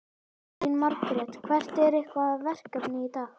Elín Margrét: Hvert er ykkar verkefni í dag?